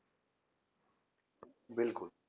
ਬਿਲਕੁਲ